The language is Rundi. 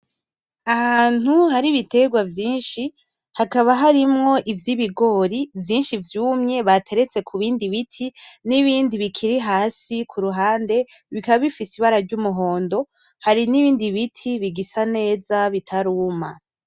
Ahantu hari ibiterwa vyishi hakaba harimwo ivyibigori vyishi vyumye bateretse kubindi biti nibindi bikiri hasi kuruhande bikaba bifise ibara ry'umuhondo hari nibindi biti bigisa neza bitaruma